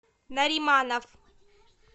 нариманов